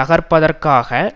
தகர்ப்பதற்காக